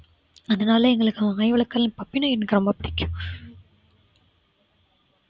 அதனால எங்களுக்கு நாய் வளர்க்கிறது puppy நாய் எனக்கு ரொம்ப பிடிக்கும்